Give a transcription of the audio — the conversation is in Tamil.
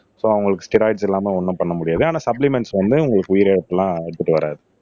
சோ அவங்களுக்கு ஸ்டெராய்டுஸ் இல்லாம ஒண்ணும் பண்ண முடியாது ஆனா சப்ளிமெண்ட்ஸ் வந்து உங்களுக்கு உயிரிழப்பு எல்லாம் எடுத்துட்டு வராது